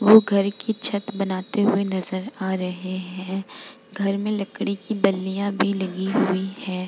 वो घर कि छत बनाते हुए नज़र आ रहे हैं घर में लकड़ी कि बल्लियां भी लगी हुई है।